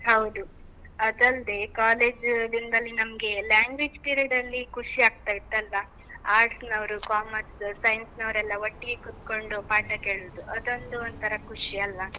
ಹೌದು. ಅದಲ್ದೇ, college ದಿನ್ದಲ್ಲಿ ನಮ್ಗೆ free period ಅಲ್ಲಿ ಖುಷಿ ಆಗ್ತಾಇತ್ತಲ್ಲಾ? Arts ನವ್ರು, Commerce, Science ವರು ಎಲ್ಲ ಒಟ್ಟಿಗೆ ಕೂತ್ಕೊಂಡು ಪಾಠ ಕೇಳುದು. ಅದೊಂದು ಒಂಥರಾ ಖುಷಿ ಅಲ್ವಾ?